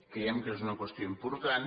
creiem que és una qüestió im·portant